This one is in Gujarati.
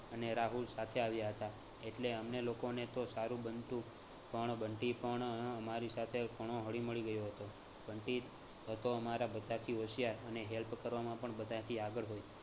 અને રાહુલ સાથે આવ્યા હતા એટલે અમને લોકોને તો સારું બનતું પણ બંટી પણ અમારી સાથે ઘણો હળીમળી ગયો હતો. બંટી હતો અમારા બધાથી હોશિયાર અને help કરવામાં પણ બધાથી આગળ હોય